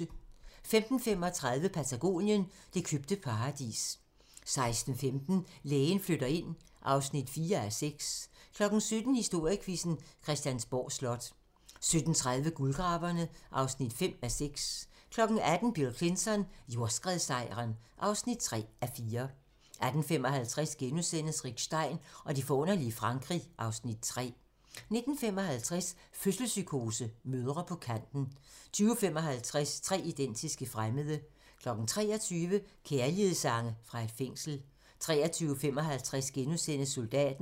15:35: Patagonien - det købte paradis 16:15: Lægen flytter ind (4:6) 17:00: Historiequizzen: Christiansborg Slot 17:30: Guldgraverne (5:6) 18:00: Bill Clinton: Jordskredssejren (3:4) 18:55: Rick Stein og det forunderlige Frankrig (Afs. 3)* 19:55: Fødselspsykose: Mødre på kanten 20:55: Tre identiske fremmede 23:00: Kærlighedssange fra et fængsel 23:55: Soldaten *